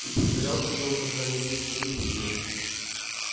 и притворялся ли он когда-нибудь что любит её